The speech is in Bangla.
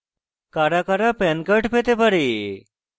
কারা কারা pan card পেতে pan